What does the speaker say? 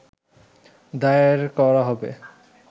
দায়ের করা হবে